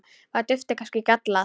Var duftið kannski gallað?